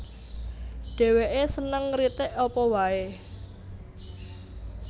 Dhèwèké seneng ngritik apa waé